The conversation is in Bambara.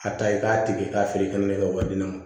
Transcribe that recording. A ta i k'a tigi k'a feere kɛmɛ wɔɔrɔ